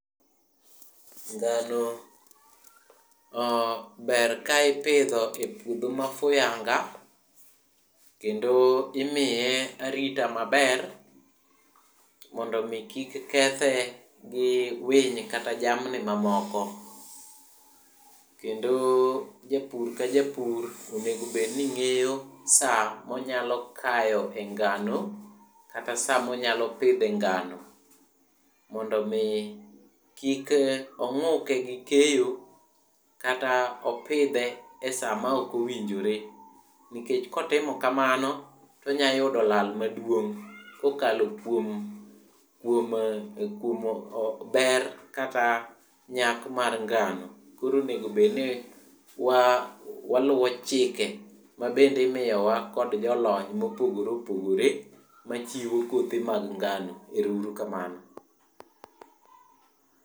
Ngano ber ka ipidho epuodho mofuyanga kendo imiye arita maber mondo mi kik kethe gi winy kata jamni mamoko. Kendo japur ka japur onego bed ning'eyo saa monyalo kaye ngano, kata saa monyalo pidhe ngano mondo mi kik ong'uke gi keyo kata opidhe e saa maok owinjore. Nikech kotimo kamano tonyalo yudo lal maduong' kokalo kuom, kuom kuom ber kata nyak mar ngano. Koro onego bed ni wa, waluo chike mabende imiyowa kod jolony mopogore opogore machiwo kothe mag ngano. Erouru kamano.